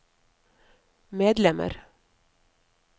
medlemmer